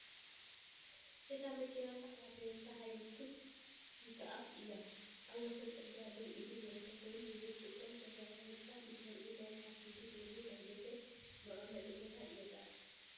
እታ መኪና ጻዕዳ ቶዮታ ሃይሉክስ ፒክኣፕ እያ። ኣብ ወሰን ጽርግያ ደው ኢሉ ዝርከብ ኮይኑ፡ ብብርጭቆ ዝተሰርሐ ህንጻን ብድሕሪኡ ናይ ካፌ/ቤት መግቢ ናይ ደገ መቐመጢ ቦታን ይርአ።